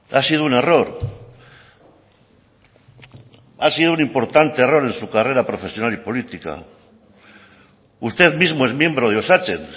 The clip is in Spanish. ha sido un error ha sido un importante error en su carrera profesional y política usted mismo es miembro de osatzen